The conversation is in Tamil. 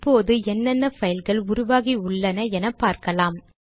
இப்போது என்னென்ன பைல்கள் உருவாகி உள்ளன என பார்க்கலாம்